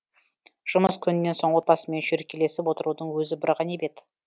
жұмыс күнінен соң отбасымен шүйіркелесіп отырудың өзі бір ғанибет